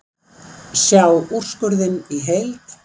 Sjá úrskurðinn í heild